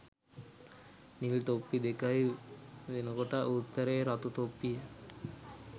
නිල් තොප්පි දෙකයි වෙනකොට උත්තරේ රතු තොප්පිය.